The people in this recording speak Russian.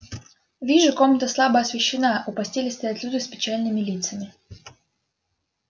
вижу комната слабо освещена у постели стоят люди с печальными лицами